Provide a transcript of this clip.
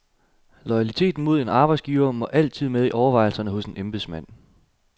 Loyaliteten mod arbejdsgiveren må altid med i overvejelserne hos en embedsmand.